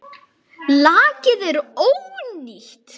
Lakið er ónýtt!